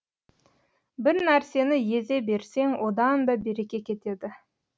бір нәрсені езе берсең одан да береке кетеді